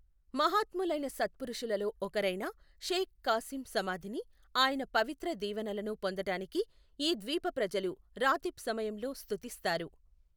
మహాత్ములైన సత్పురుషులలో ఒకరైన షేక్ కాసిమ్ సమాధిని ఆయన పవిత్ర దీవెనలను పొందడానికి ఈ ద్వీప ప్రజలు రాతీబ్ సమయంలో స్తుతిస్తారు.